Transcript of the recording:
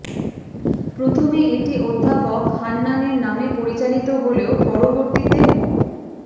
প্রথমে এটি অধ্যাপক হান্নানের নামে পরিচালিত হলেও পরবর্তীতে মো